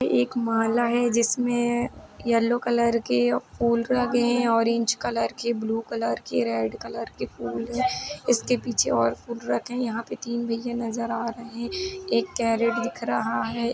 ये एक माला है जिसमें येलो कलर के फूल लगे हैं। ऑरेंज कलर के ब्लू कलर के रेड कलर के फूल हैं। इसके पीछे और फूल रखे हैं। यहाँं पे तीन भईया नजर आ रहे हैं। एक दिख रहा है।